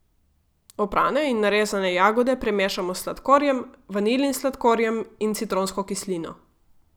Oprane in narezane jagode premešamo s sladkorjem, vanilin sladkorjem in citronsko kislino.